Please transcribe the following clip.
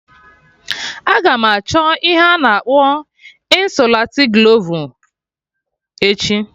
Aga m achọ ihe a na akpọ ịnsụlatiglovu echi